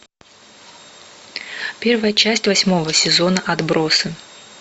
первая часть восьмого сезона отбросы